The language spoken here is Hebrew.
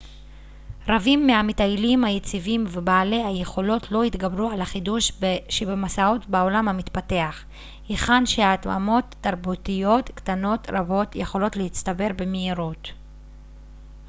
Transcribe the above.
רבים מהמטיילים היציבים ובעלי היכולת לא התגברו על החידוש שבמסעות בעולם המתפתח היכן שהתאמות תרבותיות קטנות רבות יכולות להצטבר במהירות